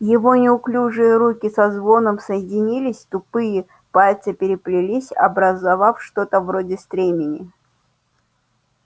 его неуклюжие руки со звоном соединились тупые пальцы переплелись образовав что-то вроде стремени